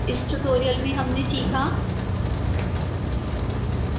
इस tutorial में हमने सीखाः